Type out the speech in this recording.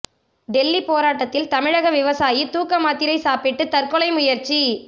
டெல்லி போராட்டத்தில் தமிழக விவசாயி தூக்க மாத்திரை சாப்பிட்டு தற்கொலை முயற்சி